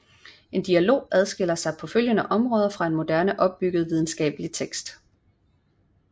En dialog adskiller sig på afgørende områder fra en moderne opbygget videnskabelig tekst